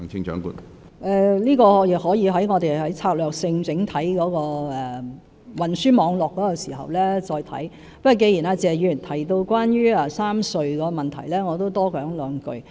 我們可以在策略性研究整體運輸網絡時再考慮這個問題，但既然謝議員提到3條隧道的問題，我也想多說兩句。